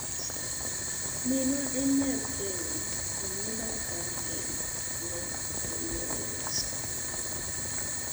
"Minwa en nyar Kenya, anyuonda aa Kenya",ne olero.